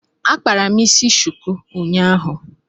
Akpara m isi shuku unyaahu